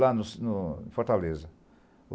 Lá em Fortaleza.